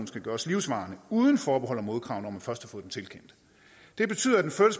skal gøres livsvarig uden forbehold og modkrav når man først får den tilkendt det betyder